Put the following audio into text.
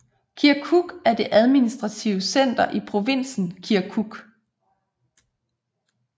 Kirkuk er det administrative center i provinsen Kirkuk